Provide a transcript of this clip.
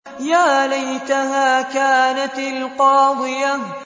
يَا لَيْتَهَا كَانَتِ الْقَاضِيَةَ